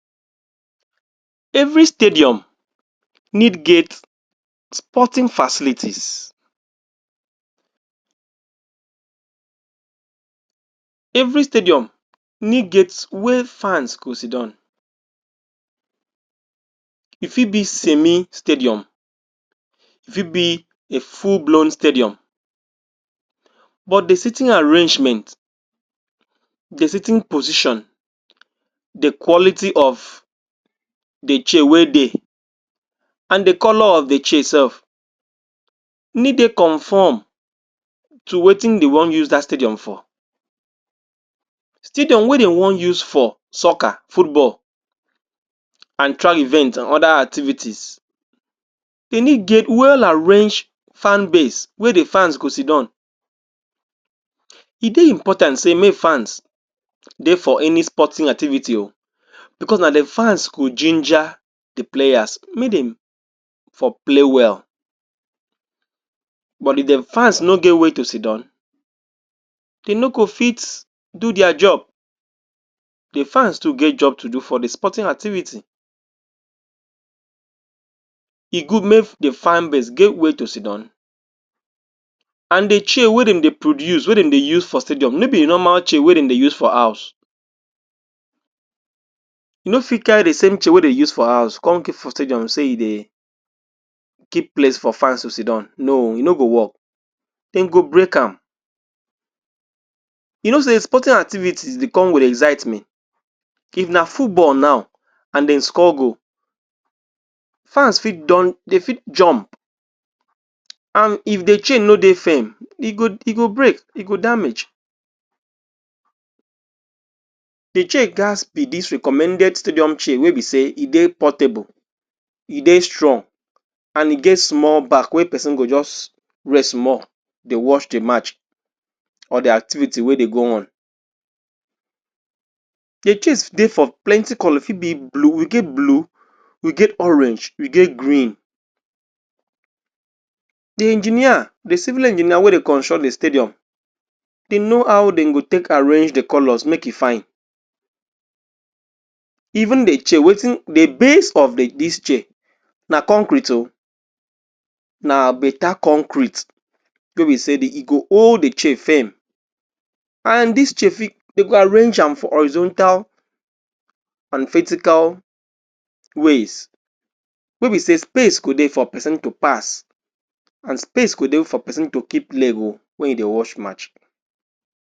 every stadium need gate sporting facilities every stadium need gate wey fans go sidown e fit be semi stadium e fit be a full blown stadium but the seatin arrangement the seating position the quality of the chair wey dey and the colour of the chair self need dey conform to wetin de wan use that stadium for stadium wey dey wan use for soccer stadium and track event and other activities they need gate well arrange fanbase wey de fans go sidown e dey important say make fans dey for any sporting activity ooo because na de fans go ginger the players make dem for play well but if the fans no get were to sidown dey no go fit do their job the fans to get job to do for the sporting activity e good make de fanbase get where to sidown and the chair wey dem dey produce wey dem dey use for stadium no be the normal chair wey dem dey use for house no fit carry the same chair wey dey use for house come keep for stadiumsay you dey keep place for fans to sidown no e no go work dem go break am u no say sporting activity dey come with exzitement if na football now and dem score goal fans fit don dey fit jump and if the chair no dey firm e go e go break e go damage the chair gatz be this recommended stadium chair wey be say e dey portable e dey strong and e get small back wey person go just rest small dey watch the match for the activity wey dey go on the chairs dey for plenty colour e fit be blue we get blue we get orange we get green the engineer the civil engineer wey dey construct the stadium they know how dem go take arrange the colours make e fine Even de chair wetin de base of the this chair na concrete ooo na better concrete no be say de e go hold the chair firm and this chair fit dey go arrange am for horizontal and vertical ways wey be say space go dey for person to pass and space go dey for person to keep leg ooo when he dey watch match